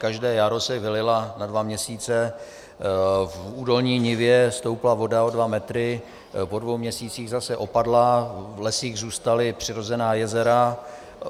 Každé jaro se vylila na dva měsíce, v údolní nivě stoupla voda o dva metry, po dvou měsících zase opadla, v lesích zůstala přirozená jezera.